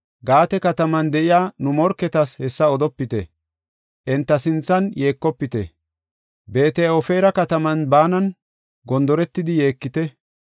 Gaate kataman de7iya nu morketas hessa odopite; enta sinthan yeekofite. Beet-Ofiira kataman baanan gondoretidi yeekite.